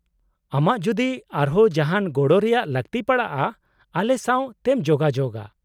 - ᱟᱢᱟᱜ ᱡᱩᱫᱤ ᱟᱨᱦᱚᱸ ᱡᱟᱦᱟᱱ ᱜᱚᱲᱚ ᱨᱮᱭᱟᱜ ᱞᱟᱹᱠᱛᱤ ᱯᱟᱲᱟᱜᱼᱟ , ᱟᱞᱮ ᱥᱟᱶ ᱛᱮᱢ ᱡᱳᱜᱟᱡᱳᱜᱼᱟ ᱾